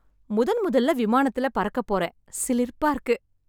முதன் முதல்ல விமானத்துல பறக்கப் போறேன். சிலிர்ப்பா இருக்கு.